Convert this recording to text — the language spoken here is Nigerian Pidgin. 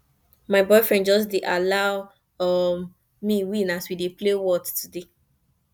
my boyfriend just dey just dey allow um me win as we dey play whot today